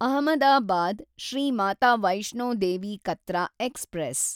Ahmedabad Shri Mata Vaishno Devi Katra express